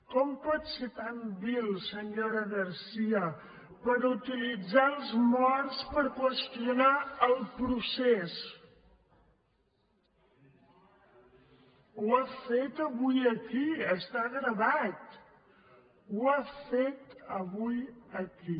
com pot ser tan vil senyora garcía per utilitzar els morts per qüestionar el pro·cés ho ha fet avui aquí està gravat ho ha fet avui aquí